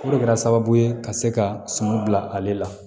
O de kɛra sababu ye ka se ka suman bila ale la